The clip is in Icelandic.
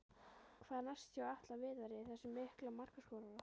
Hvað er næst hjá Atla Viðari, þessum mikla markaskorara?